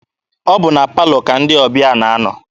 Ọ bụ na palọ ka ndị ọbịa na-anọ.